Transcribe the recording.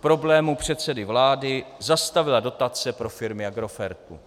problémů předsedy vlády zastavila dotace pro firmy Agrofertu.